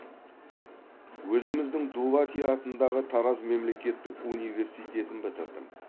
өзіміздің дулати атындағы тараз мемлекеттік университетін бітірдім